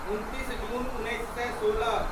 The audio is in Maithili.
उनतीस जून उन्नैस सए सोलह